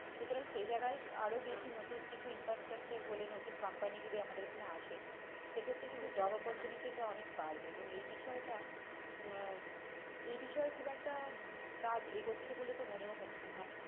সুতরাং সেই জায়গাই আরও বেশি নতুন কিছু inter structure হলে নতুন company যদি আমাদের আসে সেক্ষেত্রে কিন্তু job opportunity টা অনেক বাড়বে এবং এই বিষয়টা আহ এ বিষয়ে খুব একটা কাজ এগোচ্ছে বলে তো মনেও হচ্ছে না,